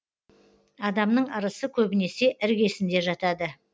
адамның ырысы көбінесе іргесінде жатады